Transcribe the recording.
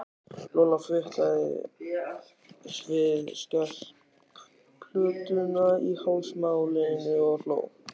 Lolla fitlaði við skelplötuna í hálsmálinu og hló.